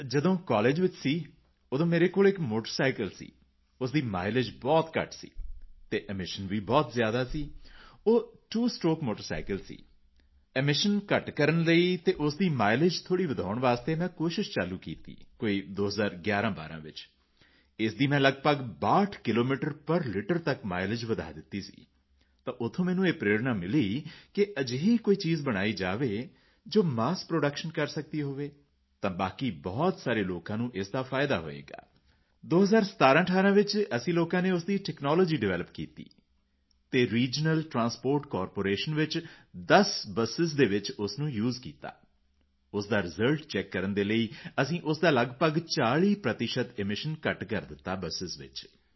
sir ਜਦੋਂ college ਵਿੱਚ ਸੀ ਤਾਂ ਉਦੋਂ ਮੇਰੇ ਕੋਲ ਮੋਟਰਸਾਈਕਲ ਸੀ ਜਿਸ ਦੀ ਮਾਈਲੇਜ ਬਹੁਤ ਘੱਟ ਸੀ ਅਤੇ ਐਮੀਸ਼ਨ ਬਹੁਤ ਜ਼ਿਆਦਾ ਸੀ ਉਹ ਤਵੋ ਸਟ੍ਰੋਕ ਮੋਟਰਸਾਈਕਲ ਸੀ ਐਮੀਸ਼ਨ ਘੱਟ ਕਰਨ ਦੇ ਲਈ ਅਤੇ ਉਸ ਦਾ ਮਾਈਲੇਜ ਥੋੜ੍ਹਾ ਵਧਾਉਣ ਦੇ ਲਈ ਮੈਂ ਕੋਸ਼ਿਸ਼ ਚਾਲੂ ਕੀਤੀ ਸੀ ਕੋਈ 201112 ਵਿੱਚ ਇਸ ਦੀ ਮੈਂ ਲਗਭਗ 62 ਕਿਲੋਮੀਟਰ ਪੇਰ ਲਿਟਰ ਤੱਕ ਮਾਈਲੇਜ ਵਧਾ ਦਿੱਤਾ ਸੀ ਤਾਂ ਉੱਥੋਂ ਮੈਨੂੰ ਇਹ ਪ੍ਰੇਰਣਾ ਮਿਲੀ ਕਿ ਕੋਈ ਅਜਿਹੀ ਚੀਜ਼ ਬਣਾਈ ਜਾਵੇ ਜੋ ਮੱਸ ਪ੍ਰੋਡਕਸ਼ਨ ਕਰ ਸਕਦੀ ਹੈ ਤਾਂ ਬਾਕੀ ਬਹੁਤ ਸਾਰੇ ਲੋਕਾਂ ਨੂੰ ਉਸ ਦਾ ਫਾਇਦਾ ਹੋਵੇਗਾ 201718 ਵਿੱਚ ਅਸੀਂ ਲੋਕਾਂ ਨੇ ਉਸ ਦੀ ਟੈਕਨਾਲੋਜੀ ਡਿਵੈਲਪ ਕੀਤੀ ਅਤੇ ਰੀਜ਼ਨਲ ਟ੍ਰਾਂਸਪੋਰਟ ਕਾਰਪੋਰੇਸ਼ਨ ਵਿੱਚ 10 ਬਸ ਵਿੱਚ ਉਹ ਯੂਐਸਈ ਕੀਤਾ ਉਸ ਦਾ ਰਿਜ਼ਲਟ ਚੈਕ ਕਰਨ ਦੇ ਲਈ ਅਸੀਂ ਉਸ ਦਾ ਲਗਭਗ 40 ਪ੍ਰਤੀਸ਼ਤ ਐਮੀਸ਼ਨ ਘੱਟ ਕਰ ਦਿੱਤਾ ਬਸ ਵਿੱਚ